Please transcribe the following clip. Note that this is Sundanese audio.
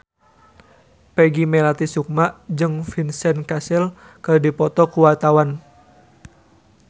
Peggy Melati Sukma jeung Vincent Cassel keur dipoto ku wartawan